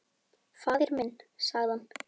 Faðir minn, sagði hann.